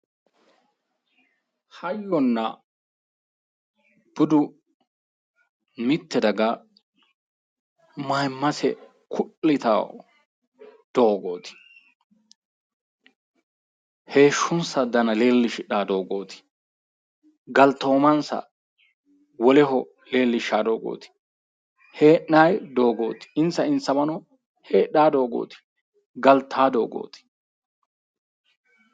Hayyona budu mitte daga mayimmase ku'litawo doogooti heeshshonsa Dana leellishshidhawo doogooti galtoomansa woleho leellishshawo doogooti hee'nayi doogooti insa insawano heedhawo doogooti galtawo doogoti.